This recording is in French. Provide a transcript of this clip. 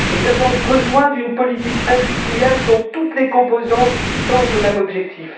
Nous avons besoin d'une politique industrielle dont toutes les composantes tendent au même objectif.